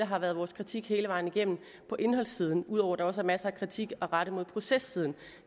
har været vores kritik hele vejen igennem på indholdssiden ud over at der også er masser af kritik at rette mod processiden